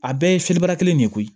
A bɛɛ ye fiyeli bara kelen de ye koyi